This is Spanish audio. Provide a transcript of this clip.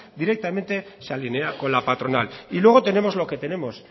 directamente se alinea con la patronal y luego tenemos lo que tenemos